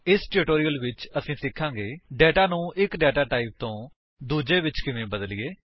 ਇਸ ਟਿਊਟੋਰਿਅਲ ਵਿੱਚ ਅਸੀ ਸਿਖਾਂਗੇ ਡੇਟਾ ਨੂੰ ਇੱਕ ਡੇਟਾ ਟਾਈਪ ਤੋਂ ਦੂੱਜੇ ਵਿੱਚ ਕਿਵੇਂ ਬਦਲੀਏ